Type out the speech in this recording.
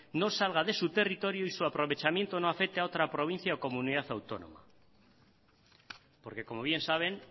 no salga de su territorio y su aprovechamiento no afecte a otra provincia o comunidad autónoma porque como bien saben